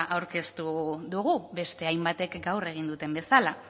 aurkeztu dugu beste hainbatek gaur egin duten bezala